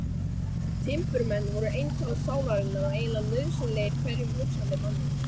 Timburmenn voru eintal sálarinnar og eiginlega nauðsynlegir hverjum hugsandi manni.